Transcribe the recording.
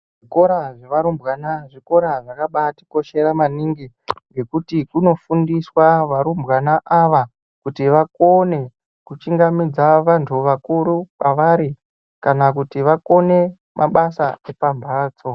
Zvikora zvevarumbwana zvikora zvakabatikoshera maningi ngekuti kunofundiswa varumbwana ava kuti vakone kuchingamidza vantu akuru kwaari kana kuti vakone mabasa epamhatso.